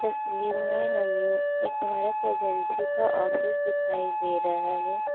तस्वीर में हमें एक भरत एजेंसी का ऑफिस दिखाई दे रहा है।